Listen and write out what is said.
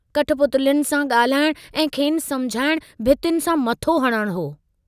कठपुतलियुनि सां गाल्हाइण ऐं खेनि समुझाइण भितियुनि सां मथो हणणु हो।